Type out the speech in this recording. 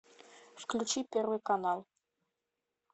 включи первый канал